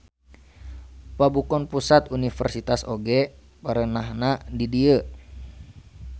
Pabukon Pusat Universitas oge perenahna di dieu.